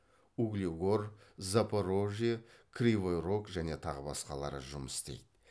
углегор запорожье кривой рог және тағы басқалары жұмыс істейді